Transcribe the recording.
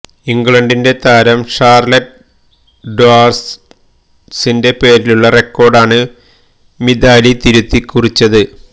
ഇംഗ്ലണ്ടിന്റെ താരം ഷാര്ലെറ്റ് ഡ്വാര്ഡ്സിന്റെ പേരിലുള്ള റെക്കോഡ് ആണ് മിതാലി തിരുത്തികുറിച്ചത്